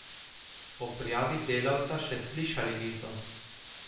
O prijavi delavca še slišali niso.